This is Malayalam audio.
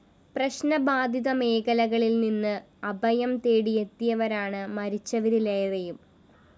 പ്രശ്നബാധിത മേഖലകളില്‍ നിന്ന് അഭയം തേടി എത്തിയവരാണ് മരിച്ചവരിലേറെയും